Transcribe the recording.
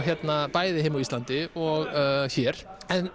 bæði heima á Íslandi og hér